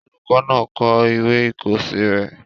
Olùkọ́ náà kọ ìwé ìkọ̀ọ́sẹ́ rẹ̀